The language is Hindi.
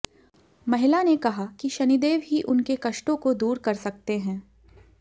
महिला ने कहा कि शनिदेव ही उनके कष्टों को दूर कर सकते हैं